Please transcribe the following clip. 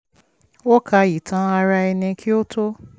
ó ka ìtàn ara ẹni kí ó tó